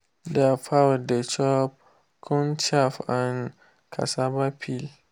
their fowl dey chop corn chaff and cassava peel.